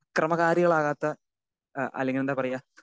Speaker 2 അക്രമകാരികൾ ആകാത്ത ഏഹ് അല്ലെങ്കിൽ എന്താ പറയുക?